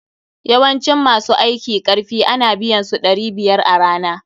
Yawancin ma su aiki karfi a na biyan su ɗari biyar a rana.